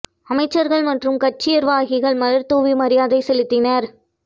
அமைச்சர்கள் மற்றும் கட்சிர்வாகிகள் மலர்தூவி மரியாதை செலுத்தினர்